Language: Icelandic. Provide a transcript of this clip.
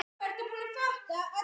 Hvernig fer landrek fram?